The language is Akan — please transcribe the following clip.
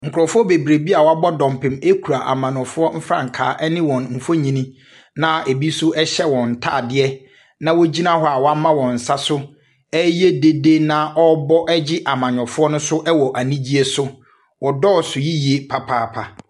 Nkurɔfoɔ bebree bi a wɔabɔ dɔmpem kura amannyɔfoɔ mfrankaa ne wɔn mfonini, na ebi nso hyɛ wɔn ntadeɛ, na wɔgyina hɔ a wɔama wɔn nsa so reyɛ dede na wɔrebɔ gye amannyɔfoɔ no so wɔ anigyeɛ so. Wɔdɔɔso yie papaapa.